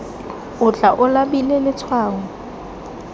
o tla o labile letshwao